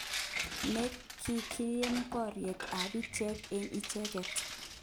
Ne nekiib boryet ab icheget eng icheget.